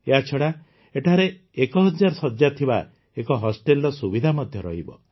ଏହାଛଡ଼ା ଏଠାରେ ୧୦୦୦ ଶଯ୍ୟା ଥିବା ଏକ ହଷ୍ଟେଲର ସୁବିଧା ମଧ୍ୟ ରହିବ